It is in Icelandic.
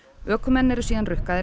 ökumenn eru síðan rukkaðir